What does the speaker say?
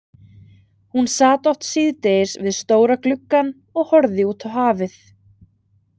Hún sat oft síðdegis við stóra gluggann og horfði út á hafið.